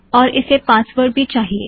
और इसे पासवर्ड भी चाहिए